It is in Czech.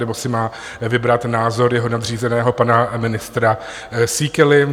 Nebo si má vybrat názor jeho nadřízeného, pana ministra Síkely?